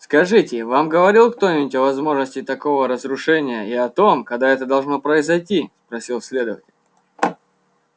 скажите вам говорил кто-нибудь о возможности такого разрушения и о том когда это должно произойти спросил следователь